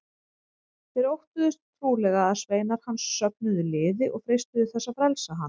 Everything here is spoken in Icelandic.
Þeir óttuðust trúlega að sveinar hans söfnuðu liði og freistuðu þess að frelsa hann.